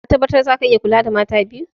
Ka tabbatar za ka iya kula da mata biyu?